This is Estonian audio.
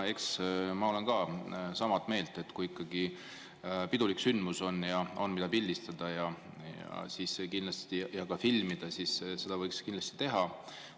Eks ma olen ka sama meelt, et kui ikkagi on pidulik sündmus ja on, mida pildistada ja kindlasti ka filmida, siis seda võiks teha.